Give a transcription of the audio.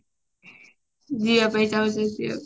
ଯିବା ପାଇଁ ଚାହୁଁଛନ୍ତି ଆଉ